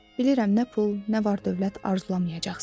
Bilirəm nə pul, nə var-dövlət arzulamayacaqsan.